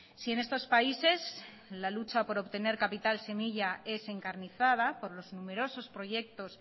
si en estos países la lucha para obtener capital semilla es encarnizada por los numerosos proyectos